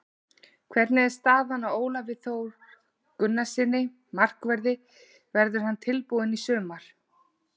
Hvernig er staðan á Ólafi Þór Gunnarssyni, markverði, verður hann tilbúinn í sumar?